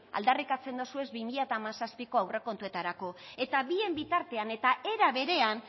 aldarrikatzen dozuez bi mila hamazazpiko aurrekontuetarako eta bien bitartean eta era berean